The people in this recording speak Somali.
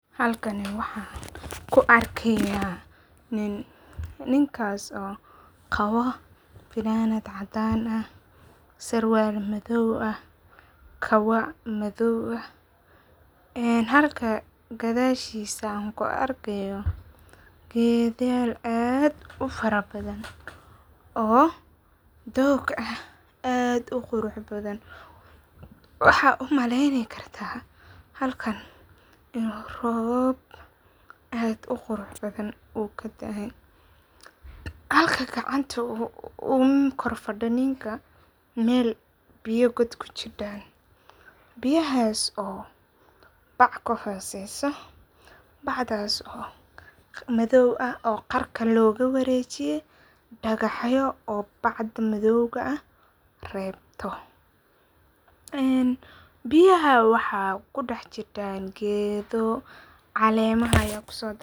Halkani waxan kuu arkayah nin, ninkas oo qabo fananad cadan ah, sarwal madow ah, kabo madow ah, en halka gadashisa an kuarkayo gedyal aad ufara badhan oo toog ah oo aad uquraxbadhan waxa umaleyni karta halkan inu roob aad uquraxbadhan ukadaay halka gacanta uu korfadiyo mel biyo god kujidan, biyahas oo bac kahoseso, bacdas oo madow ah oo qarka logawarejiye dagaxyo oo bacda madowga ah rebto, een biyaha waxa kudaxjidan gedo calemaha aya kusotaten.